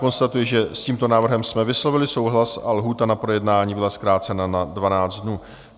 Konstatuji, že s tímto návrhem jsme vyslovili souhlas a lhůta na projednání byla zkrácena na 12 dnů.